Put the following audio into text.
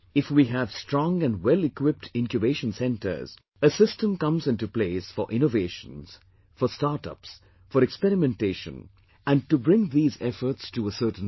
If we have strong and wellequipped Incubation Centres, a system comes into place for innovations, for startups, for experimentation and to bring these efforts to a certain level